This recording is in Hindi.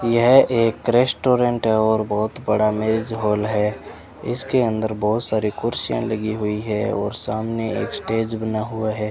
यह एक रेस्टोरेंट है और बहोत बड़ा मैरिज हाल है इसके अंदर बहोत सारी कुर्सियां लगी हुई है और सामने एक स्टेज बना हुआ है।